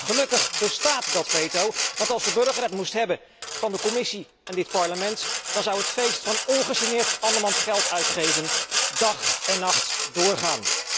Gelukkig bestaat dat veto, want als de burger het moest hebben van de Commissie en dit Parlement, dan zou het feest van ongegeneerd andermans geld uitgeven dag en nacht doorgaan.